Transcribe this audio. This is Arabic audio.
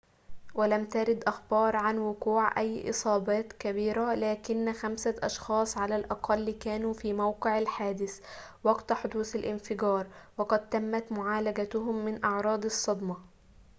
ولم ترد أخبار عن وقوع أي إصابات كبيرة لكن خمسة أشخاص على الأقل كانوا في موقع الحادث وقت حدوث الانفجار وقد تمت معالجتهم من أعراض الصدمة